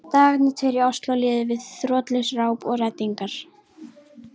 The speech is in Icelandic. Dagarnir tveir í Osló liðu við þrotlaust ráp og reddingar.